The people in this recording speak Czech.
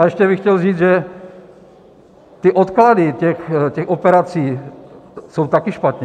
A ještě bych chtěl říct, že ty odklady těch operací jsou taky špatně.